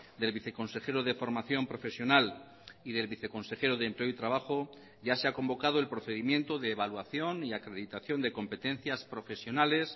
del viceconsejero de formación profesional y del viceconsejero de empleo y trabajo ya se ha convocado el procedimiento de evaluación y acreditación de competencias profesionales